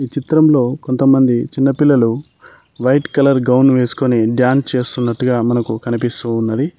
ఈ చిత్రంలో కొంతమంది చిన్న పిల్లలు వైట్ కలర్ గౌన్ వేసుకుని డాన్స్ చేస్తున్నట్టుగా మనకు కనిపిస్తూ ఉన్నది.